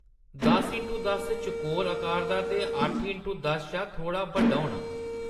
दस इंटू दस चकोर आकार दा ते अट्ठ इंटू दस शा थोह्‌ड़ा बड्डा होना।